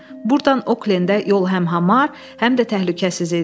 Burdan Oklendə yol həm hamar, həm də təhlükəsiz idi.